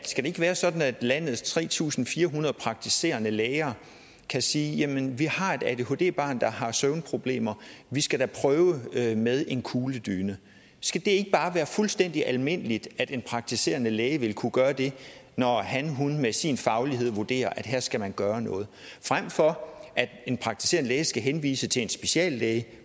skal det ikke være sådan at landets tre tusind fire hundrede praktiserende læger kan sige vi har et adhd barn der har søvnproblemer og vi skal da prøve med med en kugledyne skal det ikke bare være fuldstændig almindeligt at en praktiserende læge vil kunne gøre det når han eller hun med sin faglighed vurderer at her skal man gøre noget frem for at en praktiserende læge skal henvise til en speciallæge